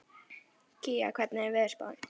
Kía, hvernig er veðurspáin?